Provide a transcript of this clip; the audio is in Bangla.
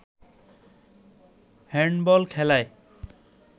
হ্যান্ডবল খেলায়